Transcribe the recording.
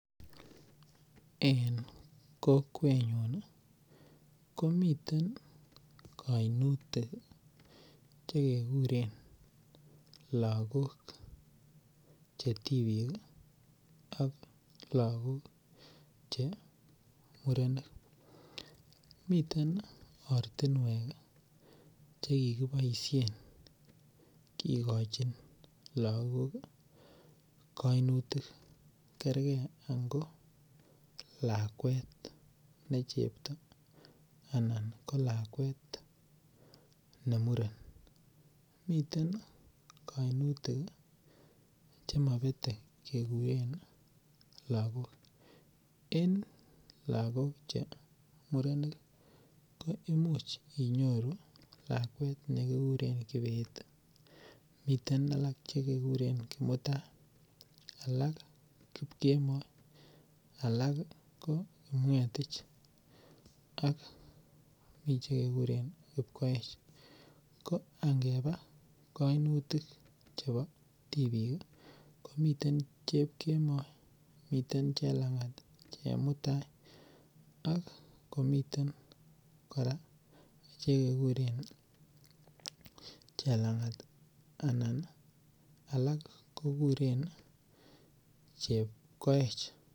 En kokwenyun komiten kainutik che keguren lagok che tibik ak lagok che murenik. Miten ortinwek che kikiboisien kigochin lagok kainutik kerge ango lakwet ne chepto anan kolakwet ne muren. Miten kainutik che mabete keguren lagok. En lagok che murenik che murenik ko imuch inyoru lakwet ne kikuren Kibet, miten alak che kekuren Kimutai, alak Kipkemoi, alak ko Kipngetich, ak mi chekekuren Kipkoech. Ko angeba kainutik chebo tibik kimiten Chepkemoi, miten Chelangat, Chemutai ak komiten kora che kekuren Chelangat anan alak kokuren Chepkoech.